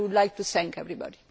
I would like to thank everybody.